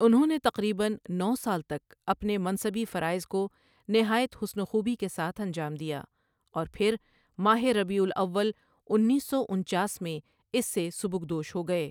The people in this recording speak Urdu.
انہوں نے تقریباً نو سال تک اپنے منصبی فرائض کو نہایت حسن وخوبی کے ساتھ انجام دیا اور پھر ماہ ربیع الاول انیس سو انچاس میں اس سے سبکدوش ہوگئے